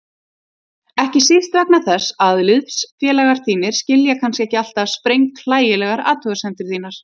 Ekki síst vegna þess að liðsfélagar þínir skilja kannski ekki alltaf sprenghlægilegar athugasemdir þínar.